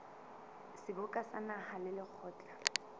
seboka sa naha le lekgotla